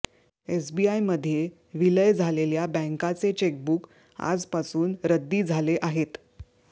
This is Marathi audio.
एसबीआयमध्ये विलय झालेल्या बँकाचे चेकबूक आजपासून रद्दी झाले आहेत